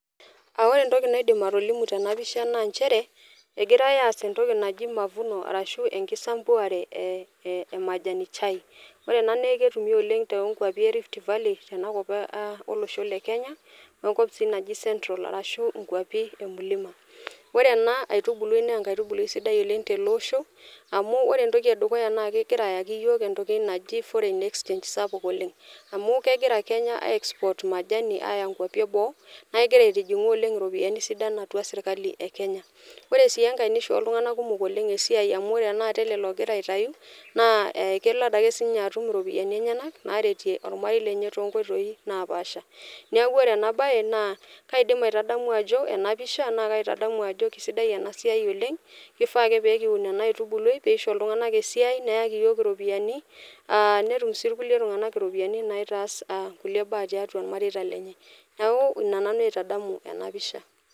Aa ore entoki naidim atolimu tenapisha naa nchere egirae aas entoki naji mavuno ashu enkisampuare ee e majani chai, ore ena naa ketumi oleng te too nkwapi erift valley tenakop e olosho lekenya wenkop si naji central arashu nkwapi emulima . Ore ena aitubului naa enkaitubului sidai oleng teleosho amu ore entoki edukuya na ke kegira ayaki iyiok entoki naji foreign exchange sapuk oleng amu kegira kenya aexport majani aya nkwapi eboo naa kegira aitijingu oleng iropiyiani sidan atua sirkali ekenya. Ore sii enkae nishoo iltunganak kumok oleng esiai amu ore tenakata ele logira aitayu naa kelo adake sinye atum iropiyiani enyenak naretie ormarei lenye toonkoitoi naapasha. Niaku ore ena bae naa kaidim aitadamu ajo ena pisha naa kaitadamu ajo kisidai ena siai oleng kifaa ake pekiun ena aitubului pisho iltunganak esiai neyaki iyiok iropiyiani aa netum si irkulie tunganak iropiyiani naitaas aa kulie baa tiatua irmareita lenye , niaku ina nanu aitadamu ena pisha.